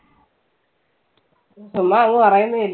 ചുമ്മാ അങ്ങ് പറയുന്നതല്ലേ.